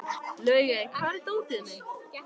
Laugey, hvar er dótið mitt?